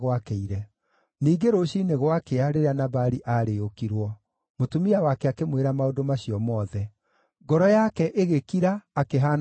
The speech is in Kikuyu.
Ningĩ rũciinĩ gwakĩa, rĩrĩa Nabali aarĩĩũkirwo, mũtumia wake akĩmwĩra maũndũ macio mothe; ngoro yake ĩgĩkira, akĩhaana ta ihiga.